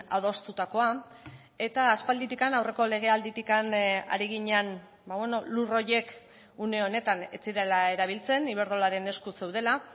adostutakoa eta aspalditik aurreko legealditik ari ginen lur horiek une honetan ez zirela erabiltzen iberdrolaren esku zeudela